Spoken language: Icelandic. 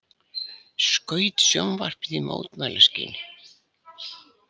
Skaut sjónvarpið í mótmælaskyni